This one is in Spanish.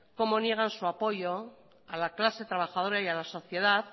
cómo niegan su apoyo a la clase trabajadora y a la sociedad